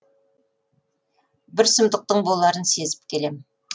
бір сұмдықтың боларын сезіп келем